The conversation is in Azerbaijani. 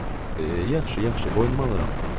Yaxşı, yaxşı, boynuma alıram.